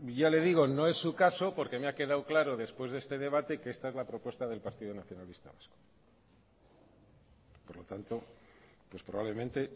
ya le digo no es su caso porque me ha quedado claro después de este debate que esta es la propuesta del partido nacionalista vasco por lo tanto pues probablemente